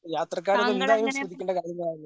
യാത്രക്കാര് അത് എന്തായാലും ശ്രദ്ധിക്കേണ്ട കാര്യങ്ങളാണ്.